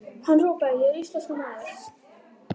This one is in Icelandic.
Hann hrópaði: En ég er íslenskur maður!